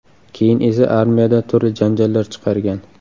Keyin esa armiyada turli janjallar chiqargan.